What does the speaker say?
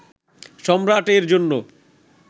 সম্রাটের জন্য